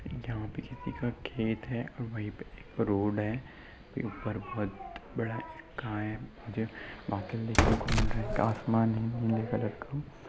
यहाँ पे किसी का खेत है| वही पे एक रोड है| ऊपर बहुत बड़ा बादल देखने को मिल रहे है| आसमान है नीले कलर का --